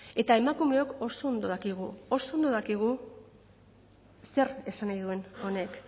eta emakumeok oso ondo dakigu oso ondo dakigu zer esan nahi duen honek